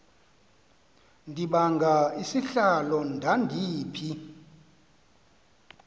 ndibanga isihlalo ndandiphi